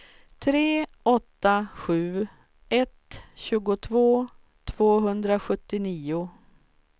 tre åtta sju ett tjugotvå tvåhundrasjuttionio